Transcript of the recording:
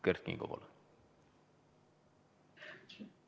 Kert Kingo, palun!